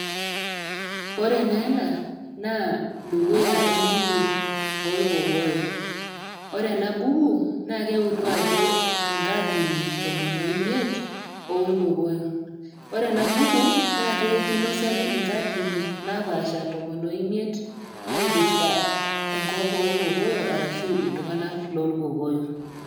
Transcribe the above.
Ore naa ena naa dukuya embuku olkokoyo, ore ena buku naa keutu ajo inkaatini tomon o imiet oo ilkokoyo. Ore ena buku naa kinosaki inkaatini napaasha tomon o imiet naipirita enkop oo ilkokoyo arashu iltung'ana loolkokoyo.